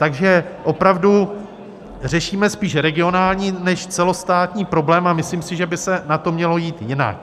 Takže opravdu řešíme spíš regionální než celostátní problém a myslím si, že by se na to mělo jít jinak.